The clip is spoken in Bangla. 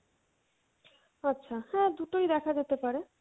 আচ্ছা হ্যাঁ দুটোই দেখা যেতে পারে।